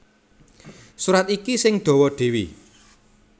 Surat iki sing dawa dhéwé